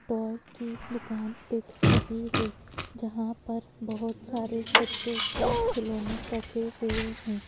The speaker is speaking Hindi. टॉय की दुकान दिख रही है जहाँ पर बहुत सारे बच्चों के खिलौने रखे हुए हैं।